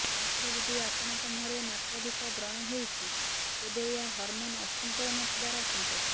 ମାତ୍ର ଯଦି ଆପଣଙ୍କ ମୁହଁରେ ମାତ୍ରାଧିକ ବ୍ରଣ ହେଉଛି ତେବେ ଏହା ହରମନ ଅସନ୍ତୁଳନ ଥିବାର ସଙ୍କେତ